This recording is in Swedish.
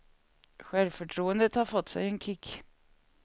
Självförtroendet har fått sig en kick.